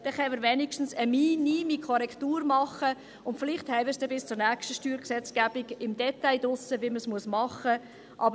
Dann können wir wenigstens eine minime Korrektur machen, und vielleicht haben wir es dann bis zur nächsten Steuergesetzgebung im Detail raus, wie man es machen muss.